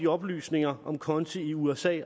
oplysninger om konti i usa